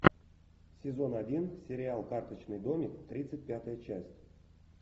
сезон один сериал карточный домик тридцать пятая часть